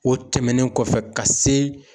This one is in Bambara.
O tɛmɛnen kɔfɛ ka se